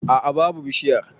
A'a babu bishiyar.